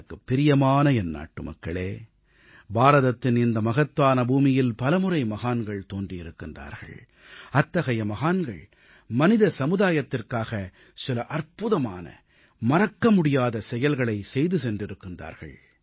எனக்குப் பிரியமான என் நாட்டுமக்களே பாரதத்தின் இந்த மகத்தான பூமியில் பலமுறை மகான்கள் தோன்றியிருக்கிறார்கள் அத்தகைய மகான்கள் மனித சமுதாயத்திற்காக சில அற்புதமான மறக்கமுடியாத செயல்களைச் செய்து சென்றிருக்கிறார்கள்